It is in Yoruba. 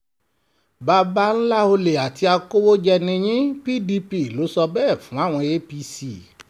baba ńlá ọ̀lẹ àti akọ̀wéjẹ̀ ni yín cs] pdp ló sọ bẹ́ẹ̀ fáwọn apc